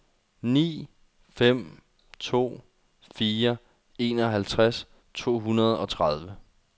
ni fem to fire enoghalvtreds to hundrede og tredive